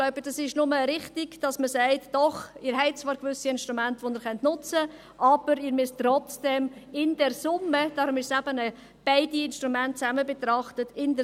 Ich glaube, es ist nur richtig, dass man sagt: «Doch, Sie haben zwar gewisse Instrumente, welche Sie nutzen können, aber in der Summe sollen trotzdem mindestens 50 Prozent des Gewinns versteuert werden.»